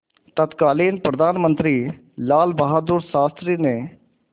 तत्कालीन प्रधानमंत्री लालबहादुर शास्त्री ने